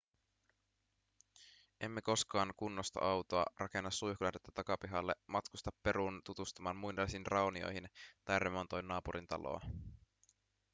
emme koskaan kunnosta autoa rakenna suihkulähdettä takapihalle matkusta peruun tutustumaan muinaisiin raunioihin tai remontoi naapurin taloa